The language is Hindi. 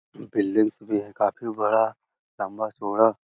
बिल्डिंगस भी है काफी बड़ा लंबा-चौड़ा।